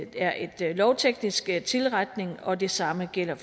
er en lovteknisk tilretning og det samme gælder